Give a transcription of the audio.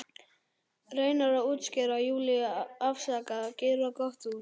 Reynir að útskýra, Júlía, afsaka, gera gott úr.